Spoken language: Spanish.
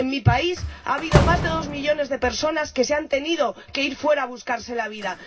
En mi país ha habido más de dos millones de personas que se han tenido que ir fuera a buscarse la vida.